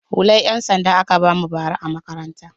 Hular 'yansanda aka ba mu bara a makaranta.